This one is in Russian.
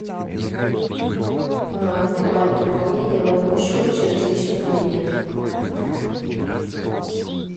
билайн пополнение моего счета через личный кабинет